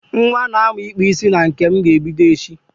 Nwa na-amu ikpu isi na nke m ga-ebido echi.